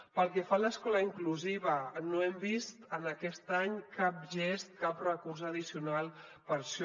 pel que fa a l’escola inclusiva no hem vist en aquest any cap gest cap recurs addicional per a això